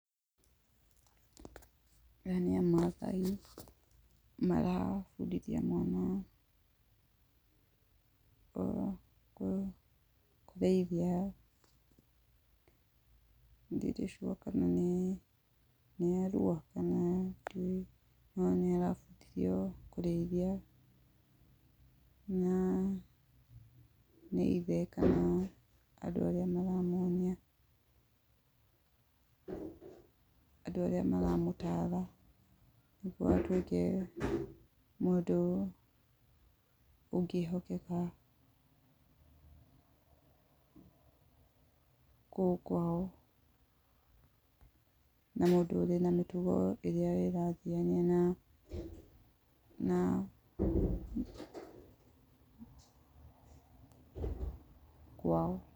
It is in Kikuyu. Aya nĩ Amaathai, marabundithia mwana, kũrĩithia, irĩcua kana nĩ arua. Ona nĩ arabundithio kũrĩithia, na nĩithe kana andũ arĩa maramuonia, andũ arĩa maramũtara kũharĩria mũndũ ũngĩhokeka, kũu kwao, na mũndũ wĩna mĩtugo ĩrathiania na, na kwao.